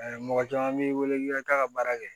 mɔgɔ caman b'i wele k'i ka taa ka baara kɛ